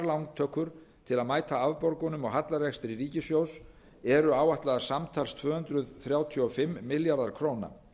lántökur til að mæta afborgunum og hallarekstri ríkissjóðs eru áætlaðar samtals tvö hundruð þrjátíu og fimm milljarðar króna